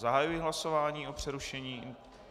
Zahajuji hlasování o přerušení...